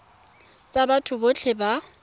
tsa batho botlhe ba ba